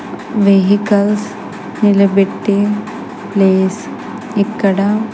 vehicles నిలబెట్టె place ఇక్కడా --